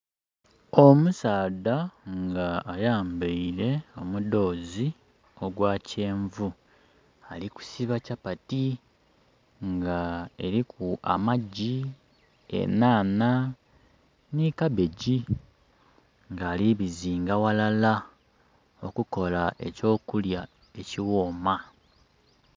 Omusaadha nga ayambaile omudhozi ogwa kyenvu ali kusiba kyapati nga eriku amagi, enhanha ni kabegi. Nga ali kubizinga ghalala okukola eky'okulya ekighooma.